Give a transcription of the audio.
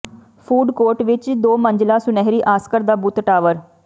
food court ਵਿਚ ਇਕ ਦੋ ਮੰਜ਼ਿਲਾ ਸੁਨਹਿਰੀ ਆਸਕਰ ਦਾ ਬੁੱਤ ਟਾਵਰ